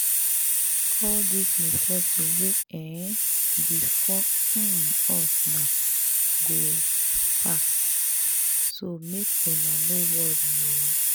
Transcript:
All dis misfortune wey um befall um us now go pass so make una no worry